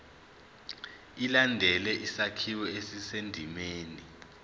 ilandele isakhiwo esisendimeni